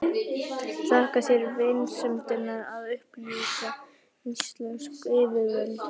Þakka þér vinsemdina að upplýsa íslensk yfirvöld.